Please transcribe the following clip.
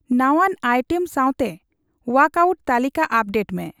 ᱱᱟᱣᱟᱱ ᱟᱭᱴᱮᱢ ᱥᱟᱣᱛᱮ ᱳᱭᱟᱠ ᱟᱹᱭᱩᱴ ᱛᱟᱹᱞᱤᱠᱟ ᱟᱯᱰᱮᱴᱢᱮ